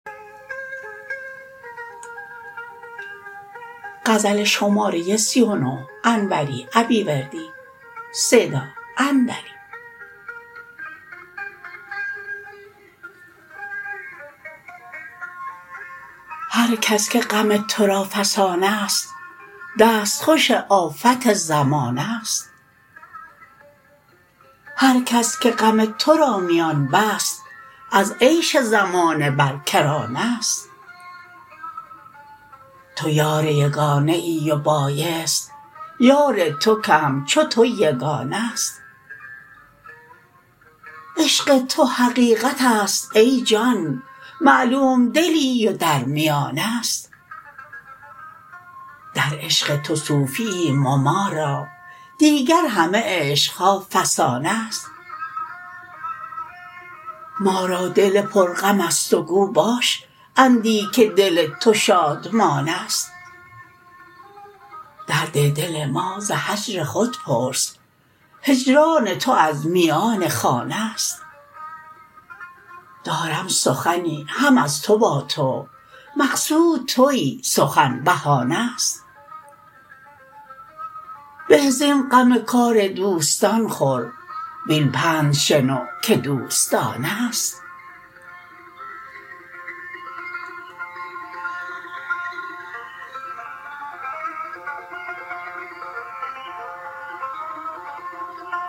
هرکس که غم ترا فسانه ست دستخوش آفت زمانه ست هرکس که غم ترا میان بست از عیش زمانه بر کرانه ست تو یار یگانه ای و بایست یار تو که همچو تو یگانه ست عشق تو حقیقت است ای جان معلوم دلی و در میانه ست در عشق تو صوفی ایم و ما را دیگر همه عشقها فسانه ست ما را دل پر غمست و گو باش اندی که دل تو شادمانه ست درد دل ما ز هجر خود پرس هجران تو از میان خانه ست دارم سخنی هم از تو با تو مقصود تویی سخن بهانه ست به زین غم کار دوستان خور وین پند شنو که دوستانه ست